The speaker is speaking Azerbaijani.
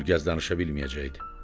Gülgəz danışa bilməyəcəkdi.